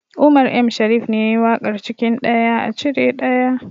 Umar M shariff ne yayi waƙar cikin ɗaya a cire ɗaya